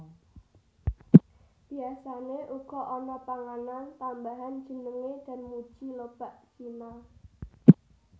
Biasane uga ana panganan tambahan jenenge danmuji lobak cina